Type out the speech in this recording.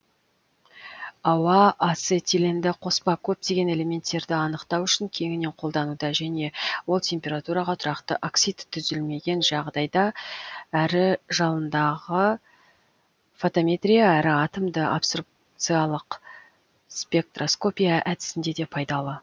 ауа ацетиленді қоспа көптеген элементтерді анықтау үшін кеңінен қолдануда және ол температураға тұрақты оксид түзілмеген жағдайда әрі жалындағы фотометрия әрі атомды абсорбциялық спектроскопия әдісінде де пайдалы